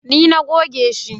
Ni na goge shi